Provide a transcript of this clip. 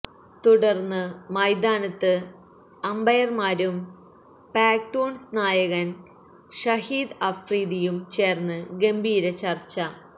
തുടർന്ന് മൈതാനത്ത് അമ്പയർമാരും പാക്തൂൺസ് നായകൻ ഷഹീദ് അഫ്രീദിയും ചേർന്ന് ഗംഭീര ചർച്ച